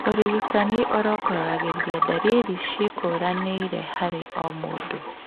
ũrigitani ũrongoragĩria ndariri ciĩkũranĩire harĩ o mũndũ